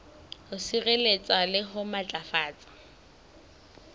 ho sireletsa le ho matlafatsa